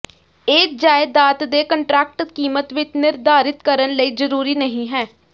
ਇਹ ਜਾਇਦਾਦ ਦੇ ਕੰਟਰੈਕਟ ਕੀਮਤ ਵਿੱਚ ਨਿਰਧਾਰਿਤ ਕਰਨ ਲਈ ਜ਼ਰੂਰੀ ਨਹੀ ਹੈ